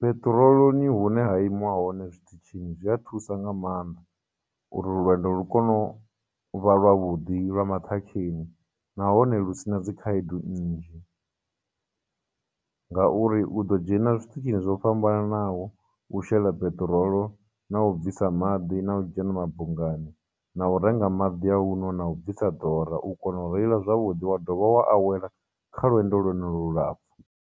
Peṱiroloni hune ha imiwa hone zwiṱitshini, zwi a thusa nga maanḓa uri lwendo lu kone u vha lwa vhudi, lwa maṱhakheni, nahone lusina dzi khaedu nnzhi, ngauri u ḓo dzhena zwiṱitshini zwo fhambananaho u shela peṱirolo, na u bvisa maḓi, na u dzhena mabungani, na u renga maḓi a u nwa, na u bvisa ḓora, u kona u reila zwavhudi wa dovha wa awela kha lwendo lwonolu lulapfhu.